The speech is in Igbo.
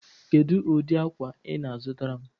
Kedụ ụdị akwa ị na-azụtara m?